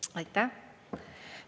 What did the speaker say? Aitäh!